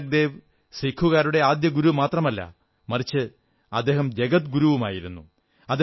ഗുരുനാനക് ദേവ് സിക്കുകാരുടെ ആദ്യഗുരു മാത്രമല്ല മറിച്ച് അദ്ദേഹം ജഗദ് ഗുരുവുമായിരുന്നു